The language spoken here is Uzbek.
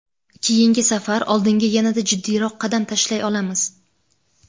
keyingi safar oldinga yanada jiddiyroq qadam tashlay olamiz.